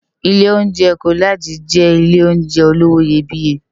Ilé óunjè Kólàjí jè Ilé óunjè ólówó iyébìyé